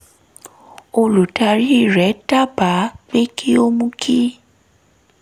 olùdarí rẹ̀ dábàá pé kí ó mú kí